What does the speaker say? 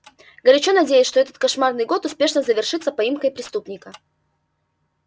горячо надеюсь что этот кошмарный год успешно завершится поимкой преступника